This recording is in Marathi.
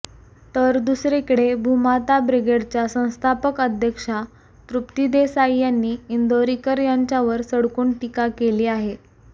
तर दुसरीकडे भूमाता ब्रिगेडच्या संस्थापक अध्यक्षा तृप्ती देसाई यांनी इंदोरीकर यांच्यावर सडकून टीका केली आहे